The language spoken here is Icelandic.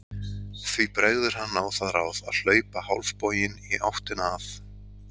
Því bregður hann á það ráð að hlaupa hálfboginn í áttina að